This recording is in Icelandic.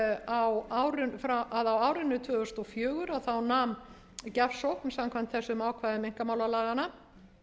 á árinu tvö þúsund og fjögur nam gjafsókn samkvæmt þessum ákvæðum einkamálalaganna